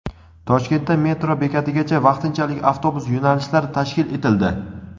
Toshkentda metro bekatigacha vaqtinchalik avtobus yo‘nalishlari tashkil etildi.